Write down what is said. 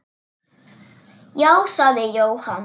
Já, sagði Jóhann.